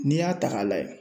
N'i y'a ta k'a lajɛ